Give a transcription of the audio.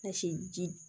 Ɛsi ji